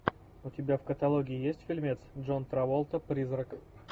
у тебя в каталоге есть фильмец джон траволта призрак